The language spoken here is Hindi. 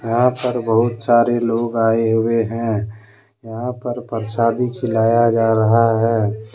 यहां पर बहुत सारे लोग आए हुए हैं यहां पर परसादी खिलाया जा रहा है।